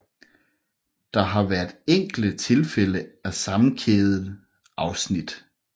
Der har været enkelte tilfælde af sammenkædede afsnit